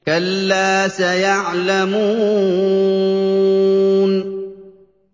كَلَّا سَيَعْلَمُونَ